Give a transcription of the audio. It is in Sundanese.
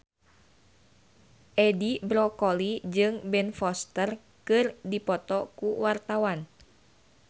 Edi Brokoli jeung Ben Foster keur dipoto ku wartawan